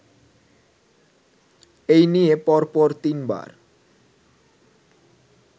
এই নিয়ে পরপর তিনবার